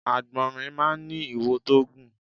Àgbọ̀nrín máá ń ní iwo tó gùn